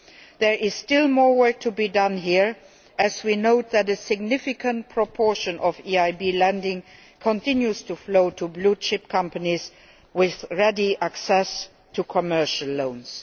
There is still more work to be done here, as we note that a significant proportion of EIB lending continues to flow to blue chip companies with ready access to commercial loans.